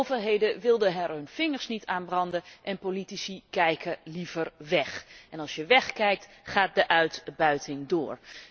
Maar overheden wilden er hun vingers niet aan branden en politici kijken liever weg. En als je wegkijkt, gaat de uitbuiting door.